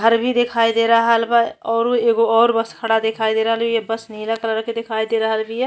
घर भी दिखाई दे रहल बा। ओरु एगो और बस खड़ा दिखाई दे रहल बिया। बस नीला कलर के दिखाई दे रहील बीया।